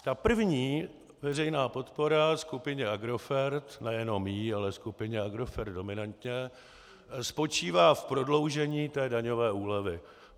Ta první veřejná podpora skupině Agrofert, nejenom jí, ale skupině Agrofert dominantně, spočívá v prodloužení té daňové úlevy.